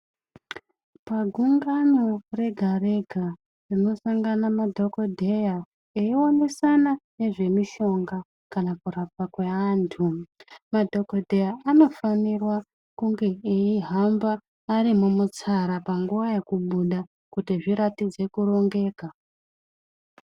Pagungano rega-rega rinosangana madhogodhera eionesana nezvemishonga kana kurapa kweantu. Madhogodheya anofanira kunge aihamba arimumutsara panguva yekubuda kuti zviratidze kurongeka.